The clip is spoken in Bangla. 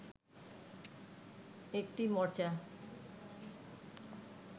একটি মোর্চা